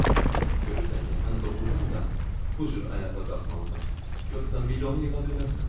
Görürsən ki, sən doğrudan da bu cür ayağa qalxmalısan, yoxsa milyonu yığa bilməzsən.